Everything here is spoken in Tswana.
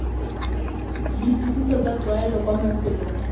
dipotsiso tsa tlwaelo kwa mafelong